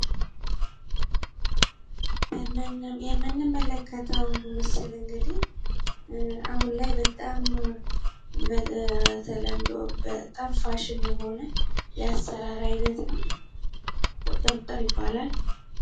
የምንመለከተው ምስል እንግዲህ አሁን ላይ በጣም በተለምዶ በጣም ፋሺን የሆነ የአሰራር አይነት ነው ፤ ቁጥርጥር ይባላል።